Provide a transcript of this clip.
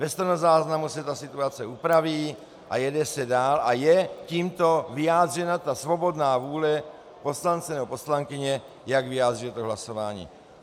Ve stenozáznamu se ta situace upraví a jede se dál a je tímto vyjádřena ta svobodná vůle poslance nebo poslankyně, jak vyjádřit to hlasování.